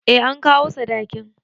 Eh an kawo sadakin